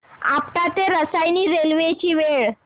आपटा ते रसायनी रेल्वे ची वेळ